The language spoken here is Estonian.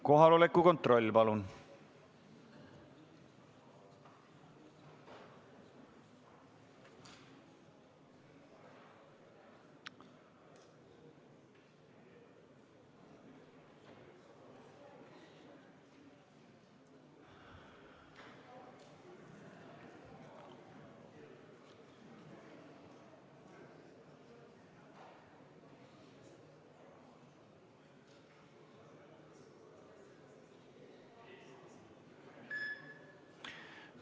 Kohaloleku kontroll, palun!